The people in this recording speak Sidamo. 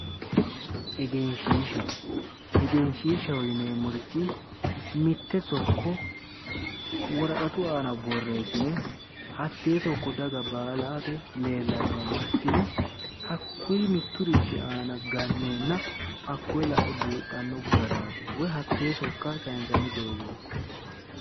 egenshiishsha egenshiishshsaho yineemmorichi mitte sokko woraqatu aana borreessine hattee sokko daga baalate leellannowa massine hakkuyi mitturichi aana ganneenna hakkoyi lae buuxanno garaati woyi hakkuyinni sayinsanni doogooti.